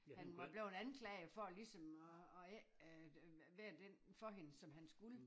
Han var bleven anklaget for at ligesom at at ikke øh være den for hende som han skulle